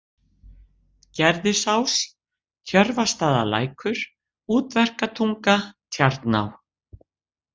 Gerðisás, Tjörvastaðalækur, Útverkatunga, Tjarná